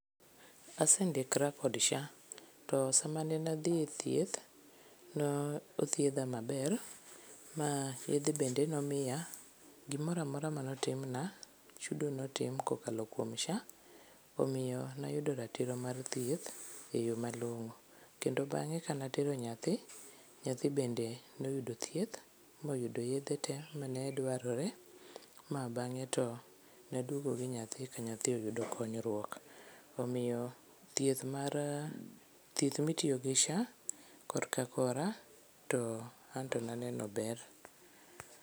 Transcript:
Asendikra kod SHA to samane adhie thieth ne othiedha maber ma yedhe bende ne omiya, gimoro amora ne otimna, chudo notim kokalo kuom SHA, omiyo nayudo ratiro mar thieth e yoo malong'o. Kendo bange kane atero nyathi, nyathi be noyudo thieth moyudo yedhe tee mane dwarore ma bange to ne aduogo gi nyathi ka nyathi oyudo konyruok. Omiyo thieth mar, thieth mitiyo gi SHA korka kora to anto naneno ber